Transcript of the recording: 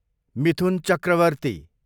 Mithun Chakraborty